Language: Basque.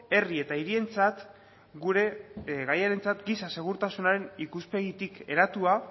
herri eta hirientzat gure gaiarentzat giza segurtasunaren ikuspegitik hedatua